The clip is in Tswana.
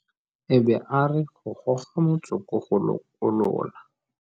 E be a re go goga motsoko go lokolola.